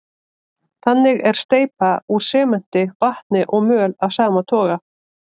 Þannig er steypa úr sementi, vatni og möl af sama toga.